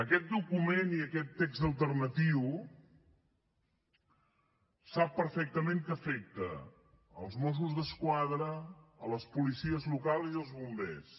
aquest document i aquest text alternatiu sap perfectament que afecta els mossos d’esquadra les policies locals i els bombers